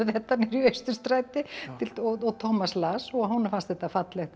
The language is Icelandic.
þetta niður í Austurstræti og Tómas las og honum fannst þetta fallegt eða